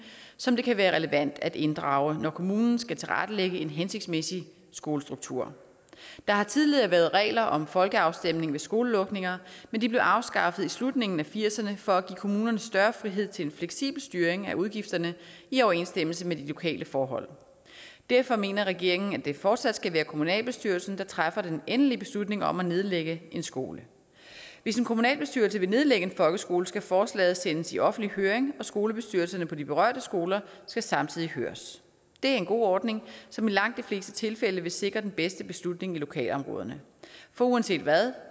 som det kan være relevant at inddrage når kommunen skal tilrettelægge en hensigtsmæssige skolestruktur der har tidligere være regler om en folkeafstemning ved skolelukninger men de blev afskaffet i slutningen af nitten firserne for at give kommunerne større frihed til en fleksibel styring af udgifterne i overensstemmelse med de lokale forhold derfor mener regeringen at det fortsat skal være kommunalbestyrelsen der træffer den endelige beslutning om at nedlægge en skole hvis en kommunalbestyrelse vil nedlægge en folkeskole skal forslaget sendes i offentlig høring og skolebestyrelserne på de berørte skoler skal samtidig høres det er en god ordning som i langt de fleste tilfælde vil sikre den bedste beslutning i lokalområderne for uanset hvad